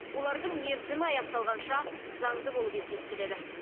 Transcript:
олардың мерзімі аяқталғанша заңды болып есептеледі